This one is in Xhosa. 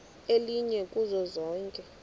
elinye kuzo zonke